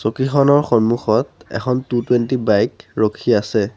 চকীখনৰ সন্মুখত এখন two twenty bike ৰখি আছে।